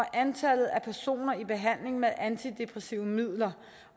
antallet af personer i behandling med antidepressive midler